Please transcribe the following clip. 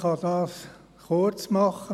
Ich kann es kurz machen: